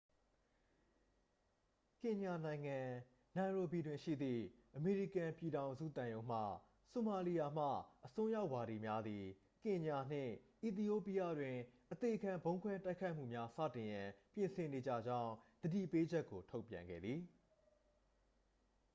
"ကင်ညာနိုင်ငံ၊ နိုင်ရိုဘီတွင် ရှိသည့် အမေရိကန်ပြည်ထောင်စု သံရုံးမှ "ဆိုမာလီယာမှ အစွန်းရောက်ဝါဒီများ" သည် ကင်ညာနှင့် အီသီယိုးပီးယားတွင် အသေခံဗုံးခွဲတိုက်ခိုက်မှုများ စတင်ရန် ပြင်ဆင်နေကြကြောင်း သတိပေးချက်ကို ထုတ်ပြန်ခဲ့သည်။